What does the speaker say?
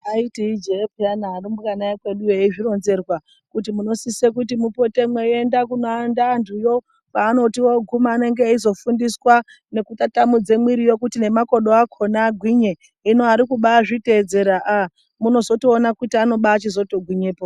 Aiti ijee pheyani arumbwana ekweduyo eizvironzerwa, kuti munosise kuti mupote mweiende kunoenda anthuyo kwaanoti ooguuma anenge eizofundiswa nekutbatamudza mwiriyo kuti nemakodo akhona agwinye, hino arikubaa zviteedzera ah kuti ano chizotogwinyebpo .